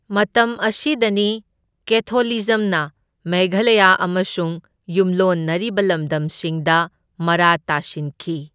ꯃꯇꯝ ꯑꯁꯤꯗꯅꯤ ꯀꯦꯊꯣꯂꯤꯖꯝꯅ ꯃꯦꯘꯂꯌꯥ ꯑꯃꯁꯨꯡ ꯌꯨꯝꯂꯣꯟꯅꯔꯤꯕ ꯂꯝꯗꯝꯁꯤꯡꯗ ꯃꯔꯥ ꯇꯥꯁꯤꯟꯈꯤ꯫